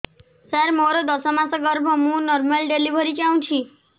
ସାର ମୋର ଦଶ ମାସ ଗର୍ଭ ମୁ ନର୍ମାଲ ଡେଲିଭରୀ ଚାହୁଁଛି